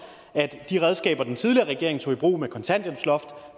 de redskaber den tidligere regering tog i brug kontanthjælpsloftet